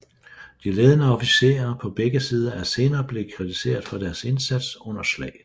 De ledende officerer på begge sider er senere blevet kritiseret for deres indsats under slaget